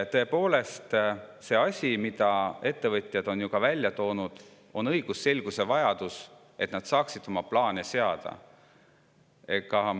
Asi, mida on ka ettevõtjad välja toonud, on õigusselguse vajadus, et nad saaksid oma plaane seada.